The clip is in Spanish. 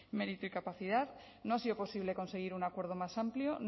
mérito y capacidad no ha sido posible conseguir un acuerdo más amplio